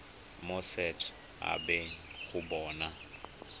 mo set habeng go bona